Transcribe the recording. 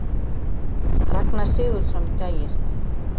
Ragnar Sigurðsson gægist.